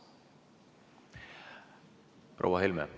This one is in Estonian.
Proua Helme!